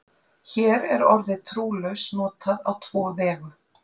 Hér er orðið trúlaus notað á tvo vegu.